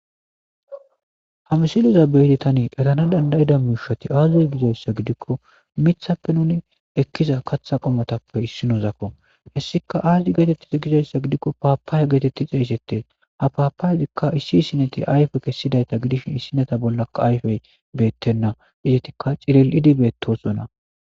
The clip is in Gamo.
ha misiliza beyidi tani etana dandayida miushati aazuy gizayssa gidikko mithappe nuni ekkiza katha qomotappe issinozakko hessika aazdi geetetti gizayssa gidikko paapaaya geetetti xeeysettes ha paapayaikka issi issineti ayfe kessidayta gidishin issineta bollaka ayfey beettenna izetikka ciril7idibeettosona